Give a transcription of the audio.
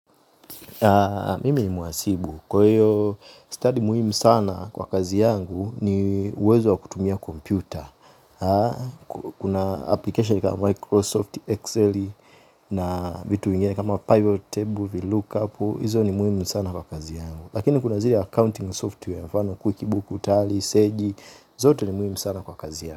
Mimi ni muhasibu. Kwa hiyo stadi muhimu sana kwa kazi yangu ni uwezo wa kutumia kompyuta. Kuna applikesheni kama Microsoft, Excel na vitu vingene kama Pivot Table, VLOOKUP. Hizo ni muhimu sana kwa kazi yangu. Lakini kuna zile accounting software. Mfano quickbook, tali, seji. Zote ni muhimu sana kwa kazi yangu.